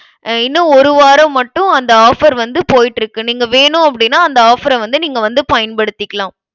அஹ் இன்னும் ஒரு வாரம் மட்டும் அந்த offer வந்து போயிட்டிரு க்கு. நீங்க வேணும் அப்படின்னா அந்த offer அ வந்து, நீங்க வந்து பயன்படுத்திக்கலாம்.